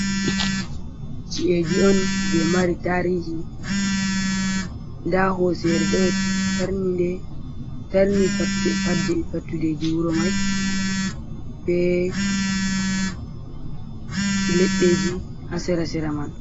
Chi’eji on je mari tarihi, nda hosere ɗotarni fattudeji wuro mai, ɓe leɗɗeji hasera sera man.